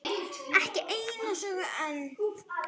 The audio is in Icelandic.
Ekki eina söguna enn.